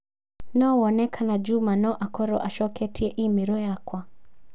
no wone kana Juma no a korũo acoketie i-mīrū yakwa